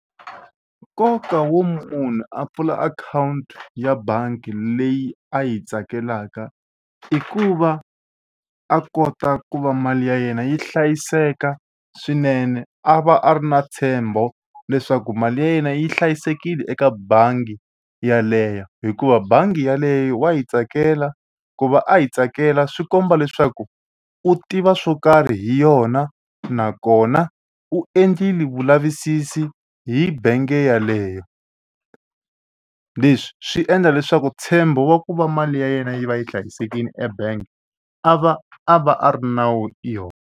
Nkoka wo munhu a pfula akhawunti ya bangi leyi a yi tsakelaka i ku va a kota ku va mali ya yena yi hlayiseka swinene a va a ri na ntshembo leswaku mali ya yena yi hlayisekile eka bangi yeleyo hikuva bangi yeleyo wa yi tsakela ku va a yi tsakela swi komba leswaku u tiva swo karhi hi yona nakona u endlile vulavisisi hi bangi yeleyo. Leswi swi endla leswaku ntshembo wa ku va mali ya yena yi va yi hlayisekile ebank a va a va a ri na wu yona.